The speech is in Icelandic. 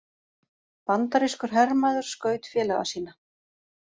Bandarískur hermaður skaut félaga sína